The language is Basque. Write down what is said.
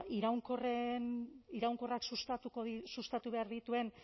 iraunkorrak sustatu behar dituen